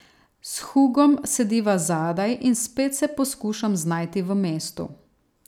S Hugom sediva zadaj in spet se poskušam znajti v mestu.